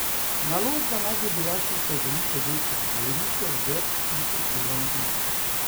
Naložba naj bi bila sicer veliko večja, govori se o več tisoč delovnih mestih.